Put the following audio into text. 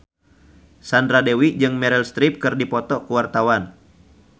Sandra Dewi jeung Meryl Streep keur dipoto ku wartawan